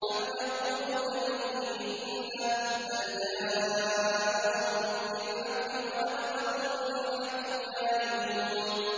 أَمْ يَقُولُونَ بِهِ جِنَّةٌ ۚ بَلْ جَاءَهُم بِالْحَقِّ وَأَكْثَرُهُمْ لِلْحَقِّ كَارِهُونَ